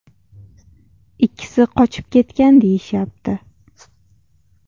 Ikkisi qochib ketgan deyishyapti.